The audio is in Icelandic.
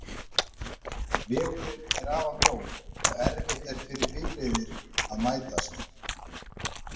Vegurinn er afar mjór og erfitt er fyrir bifreiðir að mætast.